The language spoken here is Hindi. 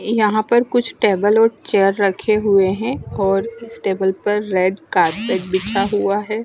यहाँ पर कुछ टेबल और चेयर रखे हुए है और इस टेबल पर रेड कार्पेट बिछा हुआ है।